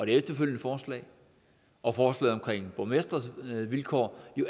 efterfølgende forslag og forslaget omkring borgmestres vilkår